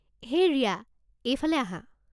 হেই ৰিয়া, এইফালে আহা।